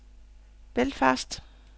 Belfast